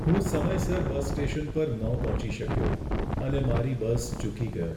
હું સમયસર bus station પર ન પહોંચી શક્યો અને મારી બસ ચૂકી ગયો.